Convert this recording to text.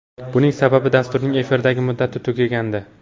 Buning sababi dasturning efirdagi muddati tugagandi.